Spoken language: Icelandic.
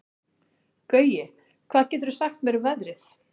Gaui, hvað geturðu sagt mér um veðrið?